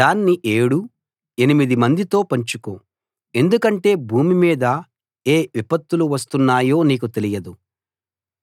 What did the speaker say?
దాన్ని ఏడు ఎనిమిది మందితో పంచుకో ఎందుకంటే భూమి మీద ఏ విపత్తులు వస్తున్నాయో నీకు తెలియదు